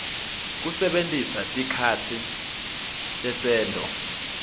kusebentisa tikhatsi tesento